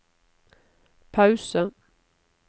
pause